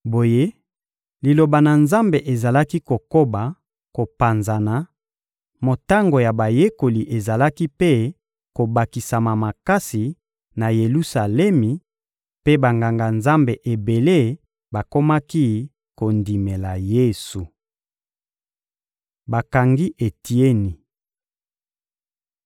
Boye, Liloba na Nzambe ezalaki kokoba kopanzana, motango ya bayekoli ezalaki mpe kobakisama makasi na Yelusalemi mpe Banganga-Nzambe ebele bakomaki kondimela Yesu. Bakangi Etieni